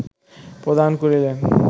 প্রদান করিলেন